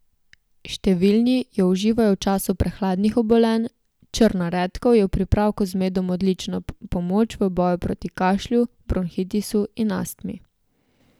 Številni jo uživajo v času prehladnih obolenj, črna redkev je v pripravku z medom odlična pomoč v boju proti kašlju, bronhitisu in astmi.